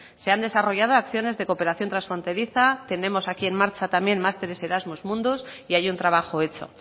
se han desarrollado acciones de cooperación transfronteriza tenemos aquí en marcha también másteres de eramus mundus y hay un trabajo hecho